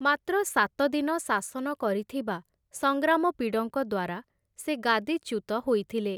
ମାତ୍ର ସାତଦିନ ଶାସନ କରିଥିବା ସଂଗ୍ରାମପିଡ଼ଙ୍କ ଦ୍ୱାରା ସେ ଗାଦିଚ୍ୟୁତ ହୋଇଥିଲେ ।